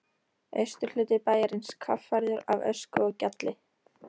Austurhluti bæjarins kaffærður af ösku og gjalli.